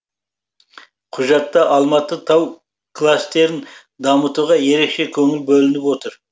құжатта алматы тау кластерін дамытуға ерекше көңіл бөлініп отыр